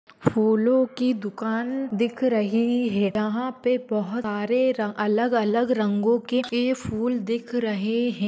फूलों की दुकान दिख रही है। यहा पे बहुत सारे अलग अलग रंगों के फूल दिख रहे है।